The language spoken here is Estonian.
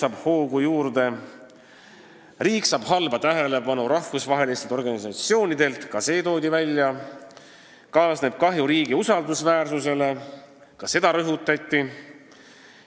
Veel toodi välja, et riik saab rahvusvahelistelt organisatsioonidelt halba tähelepanu, millega kaasneb kahju riigi usaldusväärsusele – ka seda rõhutati.